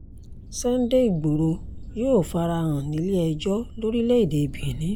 sunday igboro yóò fara hàn nílé-ẹjọ́ lórílẹ̀‐èdè benin